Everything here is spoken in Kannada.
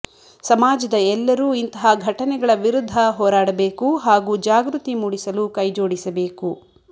ಸಮಾಜದ ಎಲ್ಲರೂ ಇಂತಹ ಘಟನೆಗಳ ವಿರುದ್ಧ ಹೋರಾಡಬೇಕು ಹಾಗೂ ಜಾಗೃತಿ ಮೂಡಿಸಲು ಕೈಜೋಡಿಸಬೇಕು